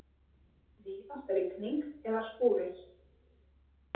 Víðast rigning eða skúrir